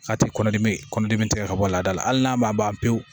A tɛ kɔnɔdimi kɔnɔdimi tigɛ ka bɔ laada la hali n'a ma ban pewu